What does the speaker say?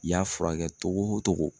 I y'a furakɛ togo o togo.